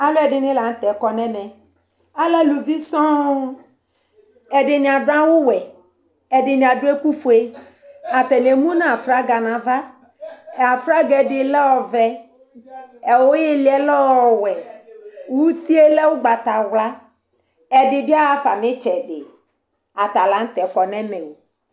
Aluvidɩnɩ lanutɛ kɔnʊ ɛmɛ, ɛdɩnɩ adʊ awu wɛ, ɛdɩnɩ adʊ ɛku fue, atani emu nʊ aflaga nʊ aflaga nava, aflaga yɛ ɛdɩ lɛ ɔvɛ, ili yɛ lɛ ɔwɛ, uti yɛ lɛ ugbatawla, ɛdɩbɩ ahafa nʊ ɩtsɛdɩ, atalanutɛ kɔ nʊ ɛmɛ o